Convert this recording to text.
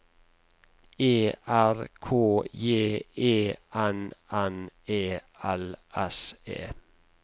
E R K J E N N E L S E